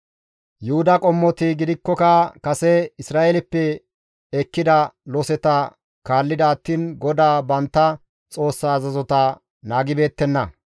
Yuhuda qommoti gidikkoka kase Isra7eeleppe ekkida loseta kaallida attiin GODAA bantta Xoossa azazota naagibeettenna.